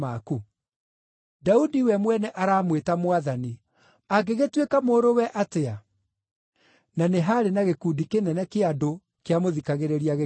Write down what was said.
Daudi we mwene aramwĩta ‘Mwathani.’ Angĩgĩtuĩka mũrũwe atĩa?” Na nĩ haarĩ na gĩkundi kĩnene kĩa andũ kĩamũthikagĩrĩria gĩkenete.